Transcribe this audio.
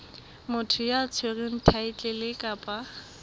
motho ya tshwereng thaetlele kapa